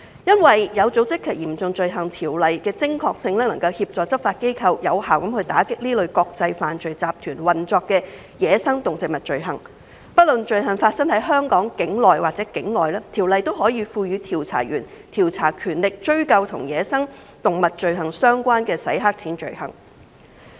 《有組織及嚴重罪行條例》的精確性，能夠協助執法機構有效地打擊這類國際犯罪集團運作的走私野生動植物罪行，不論罪行發生在香港境內或境外，該條例均可以賦予調查員調查權力，追究與走私野生動植物罪行相關的洗黑錢罪行。